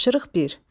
Tapşırıq bir.